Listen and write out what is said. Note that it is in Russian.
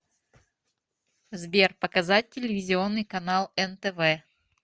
сбер показать телевизионный канал нтв